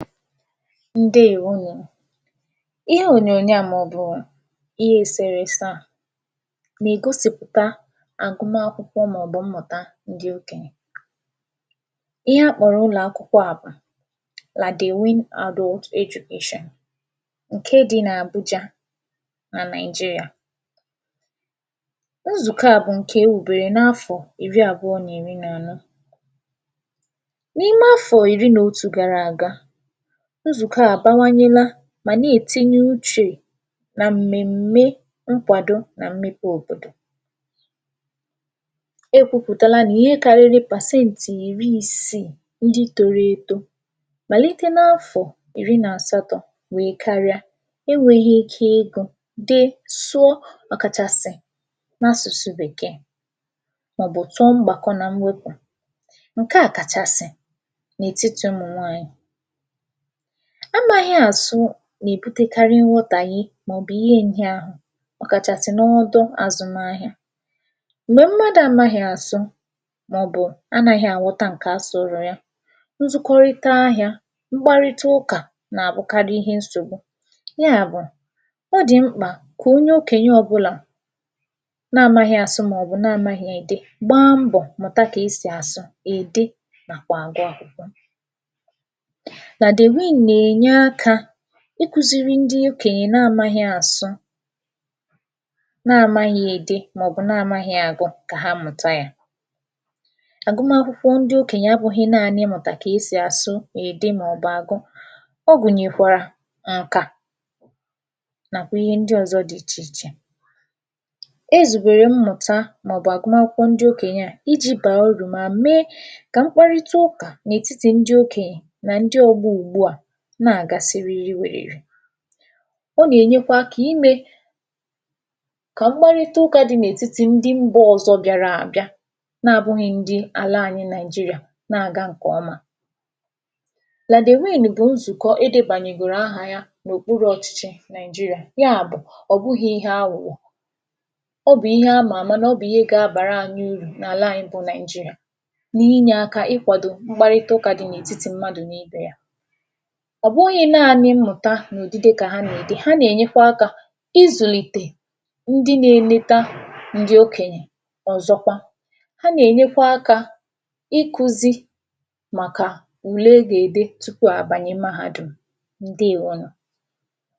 Ǹdeèwonù, ihe ònyònyo a mọ̀bụ̀ ihe èsèrèse a nègosìpụta àgụmakwụkwọ mọ̀bụ̀ mmụ̀ta ndị ọkènyè Ihe akpọ̀rọ̀ ụlọ̀akwụkwọ a bụ̀ Ladewin adult education ǹke dị n’Àbụjā nà Nàị̀jịrịa Nzụ̀kọ a bụ̀ ǹke ewùbèrè n’afọ̀ ìri àbụọ nì iri nà anọ N’ime afọ̀ ìri nò otù gara aga, nzụ̀kọ a àbawanyela màne ètinye uchè nà m̀mème nkwàdo nà nkwàdo òbòdò e kwupùtala nà ihe karịrị pàseǹtị̀ ìri isii ndị toro eto màlite n’afọ̀ ìri nàsatọ̄ wèè karịa enwēghī ike ịgụ̄, dee mọ̀bụ̀ sụọ ọ̀ kàchàsị̀ n’asụ̀sụ bèkee mọ̀bụ̀ tụọ mgbàkọ nà mwepù ǹke a kàchàsị̀ n’ètitī ụmụ̀nwanyị̀ A māghị̄ àsụ nèbutekarị mwọtàhie mọ̀bụ̀ ihe nhịahụ ọ̀ kàchàsị̀ n’ọdụ azụmahịa m̀gbè mmadụ̄ amaghị̄ àsụ mọ̀bụ̀ anāghị̄ àwọta ǹkè a sụ̀ụ̀rụ̀ ya nzụkọrịta ahịā mkparịta ụkà nàbụkarị nsògbu ya bụ̀ ọ dị̀ mkpà kò onyo okènye ọbụlà na amaghị̄ àsụ mọ̀bụ̀ namāghị̀ ède gbaa mbọ̀ mụ̀ta kèsi àsụ, ède nàkwà àgụ akwụkwọ Ladewin nènya akā ịkụ̄ziri ndị okenye na amaghị̄ àsụ namāghị̀ ède, mọ̀bụ̀ namāghị̀ àgụ kà ha mụ̀ta yā àgụmakwụkwọ ndị okènyè abụ̄ghị̄ naanị ịmụ̀tà kè esì àsụ, ède mọ̀bụ̀ àgụ ọ gụ̀nyèkwèrè ǹkà nàkwà ihe ndị ọ̀zọ dị ichè ichè E zùbèrè mmụ̀ta mọ̀bụ̀ àgụmakwụkwọ ndị okènye a ijī bàà arụ̀ mà mee kà mkparịta ụkà n’ètitì ndị okènyè nà ndị ọgbọ ụ̀gbụ a na-àga siriri wèrèrè. Ọ gènyekwa akā imē kà mkparịta ụkā dị n’ètịtị̄ ndị mbā ọ̀zọ bịara àbịa na àbụghị̄ ndị àla anyị Nàị̀jịrịà na-àga ǹkọ̀ọma Ladewin bụ̀ nzụ̀kọ edēbànyègòrò ahà ya n’òkpurū ọ̀chịchị Nàị̀jịrị̀à ya bụ̀ ọ̀ bụghị̄ ihe awụ̀wọ̀ ọ bụ̀ ihe amà àma nọ̀ ọ bụ̀ ihe gābàranyị̄ uru n’àla anyị bụ Nàị̀jịrị̀à ni inyē aka ikwàdò mkparịta ụkà dị n’ètitì mmadụ n’imē ya Ọ̀ bụghị̄ naanị mmụ̀ta nò odide kà ha nède, ha nènyekwa akā izùlìtè ndị nē neta ndị okènyè, ọ̀zọkwa ha nènyekwa akā ikūzī màkà ùle e gède tupu àbànye mahādùm. Ǹdeèwonù